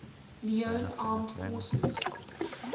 leone armed forces